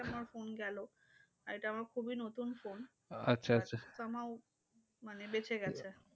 আমার phone গেলো। আর এটা আমার খুবই নতুন phone some how মানে বেঁচে গেছে।